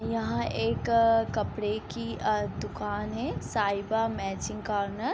यहाँ एक कपड़े की अ दुकान है साहिबा मैचिंग कार्नर ।